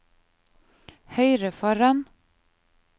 høyre foran